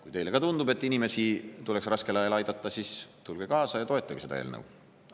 Kui teile ka tundub, et inimesi tuleb raskel ajal aidata, siis tulge kaasa ja toetage seda eelnõu!